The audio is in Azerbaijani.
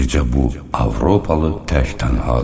Bircə bu Avropalı tək-tənhadır.